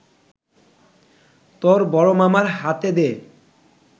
তর বড়মামার হাতে দে